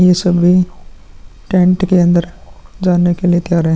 ये सब भी टंट के अंदर जाने के लिय तैयार है।